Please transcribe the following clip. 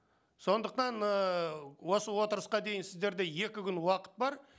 сондықтан ыыы осы отырысқа дейін сіздерде екі күн уақыт бар